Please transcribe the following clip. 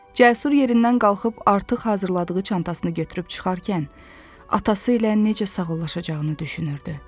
Cəsur yerindən qalxıb artıq hazırladığı çantasını götürüb çıxarkən atası ilə necə sağollaşacağını düşünürdü.